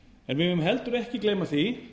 en við megum heldur ekki gleyma því